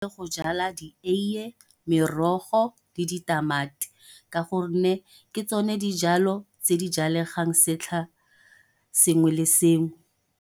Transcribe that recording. Go jala di eie, merogo, le ditamati ka gonne, ke tsone dijalo tse di jalegang setlha sengwe le sengwe.